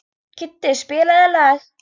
Kiddi, spilaðu lag.